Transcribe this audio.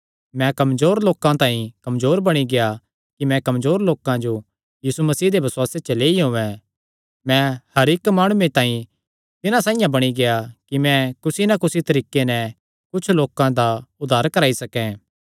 मैं कमजोर लोकां तांई कमजोर बणी गेआ कि मैं कमजोर लोकां जो यीशु मसीह दे बसुआसे च लेई औयें मैं हर इक्क माणुये तांई तिन्हां साइआं बणी गेआ कि मैं कुसी नैं कुसी तरीके नैं कुच्छ लोकां दा उद्धार कराई सकैं